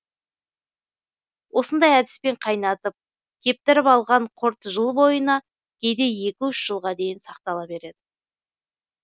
осындай әдіспен қайнатып кептіріп алған құрт жыл бойына кейде екі үш жылға дейін сақтала береді